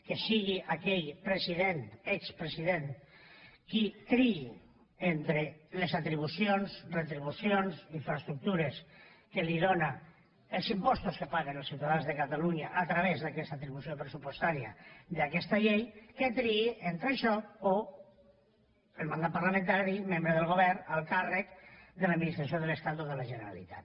que sigui aquell president expresident qui triï entre les atribucions retribucions infraestructures que li dóna els impostos que paguen els ciutadans de catalunya a través d’aquesta atribució pressupostària d’aquesta llei que triï entre això o el mandat parlamentari membre del govern alt càrrec de l’administració de l’estat o de la generalitat